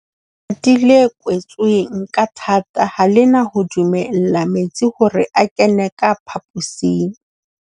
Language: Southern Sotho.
Le kwetsweng ka thata ha le na ho dumella metsi hore a kene ka phaposing.